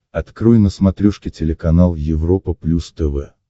открой на смотрешке телеканал европа плюс тв